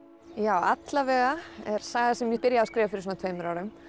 allavega er saga sem ég byrjaði að skrifa fyrir tveimur árum